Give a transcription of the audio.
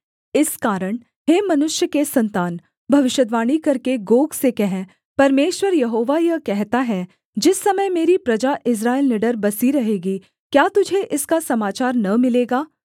इस कारण हे मनुष्य के सन्तान भविष्यद्वाणी करके गोग से कह परमेश्वर यहोवा यह कहता है जिस समय मेरी प्रजा इस्राएल निडर बसी रहेगी क्या तुझे इसका समाचार न मिलेगा